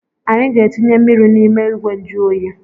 Anyị ga-etinye mmiri n’ime igwenjụoyi